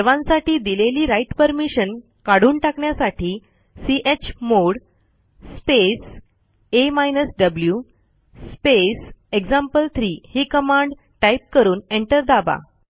सर्वांसाठी दिलेली write permission काठून टाकण्यासाठी chmod space a v space example3 ही कमांड टाईप करून एंटर दाबा